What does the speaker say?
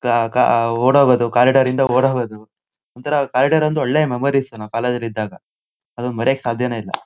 ಕಾ ಕಾ ಓಡ ಹೋಗೋದು ಕಾರಿಡಾರ್ ಇಂದ ಓಡ ಹೋಗೋದು. ಒಂತರ ಕಾರಿಡಾರ್ ಒಂದು ಒಳ್ಳೆ ಮೆಮೊರಿಸ್ ನಾವು ಕಾಲೇಜ್ ಲ್ ಇದ್ದಾಗ. ಅದನ್ನ ಮರಿಯೋಕೆ ಸಾದ್ಯಾನೆ ಇಲ್ಲ.